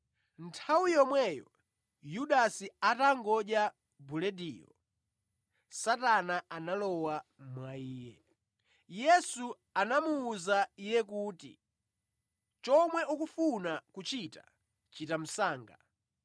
Nthawi yomweyo Yudasi atangodya bulediyo, Satana analowa mwa Iye. Yesu anamuwuza Iye kuti, “Chomwe ukufuna kuchita, chita msanga.”